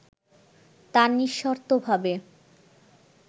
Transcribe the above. তা নিঃশর্তভাবে